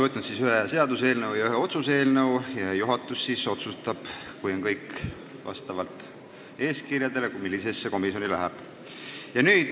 Olen vastu võtnud ühe seaduseelnõu ja ühe otsuse eelnõu ning juhatus otsustab, kui kõik vastab eeskirjadele, millisesse komisjoni need lähevad.